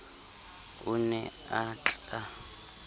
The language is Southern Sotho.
o ne a tl a